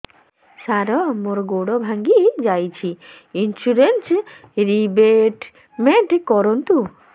ସାର ମୋର ଗୋଡ ଭାଙ୍ଗି ଯାଇଛି ଇନ୍ସୁରେନ୍ସ ରିବେଟମେଣ୍ଟ କରୁନ୍ତୁ